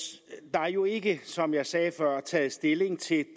er jo ikke som jeg sagde før taget stilling til